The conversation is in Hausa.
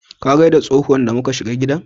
Kin gaida tsohuwan da mu ka shiga gidan?